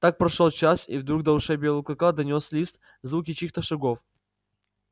так прошёл час и вдруг до ушей белого клыка донёс лист звуки чьих-то шагов